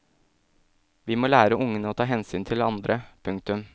Vi må lære ungene å ta hensyn til andre. punktum